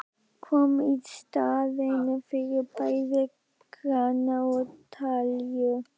Kom í staðinn fyrir bæði krana og talíu.